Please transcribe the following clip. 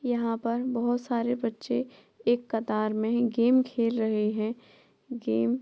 यहाँ पर बहुत सारे बच्चे एक कतार मे गेम खेल रहे हैं। गेम --